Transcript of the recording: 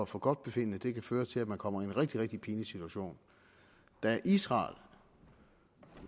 forgodtbefindende det kan føre til at man kommer i en rigtig rigtig pinlig situation da israel